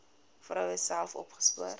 vroue self opgespoor